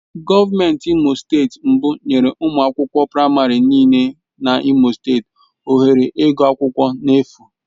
Gọvanọ Imo steeti mbụ nyere ụmụ akwụkwọ praịmarị nịle na imo steeti ohere ịgụ akwụkwọ na-efu.